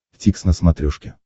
дтикс на смотрешке